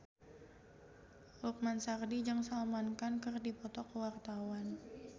Lukman Sardi jeung Salman Khan keur dipoto ku wartawan